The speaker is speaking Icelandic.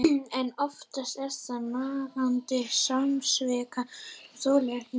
En oftast er það nagandi samviskan sem þolir ekki meir.